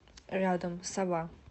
рядом сова